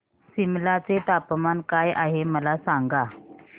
सिमला चे तापमान काय आहे मला सांगा